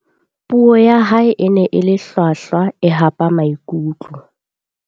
Puo ya hae e ne e le hlwahlwa e hapa maikutlo.